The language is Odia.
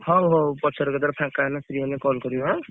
ହଉ ହଉ ପଛରେ କେତବେଳେ ଫାଙ୍କା ହେଲେ free ହେଲେ call କରିବ ଆଁ।